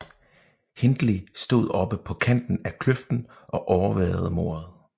Hindley stod oppe på kanten af kløften og overværede mordet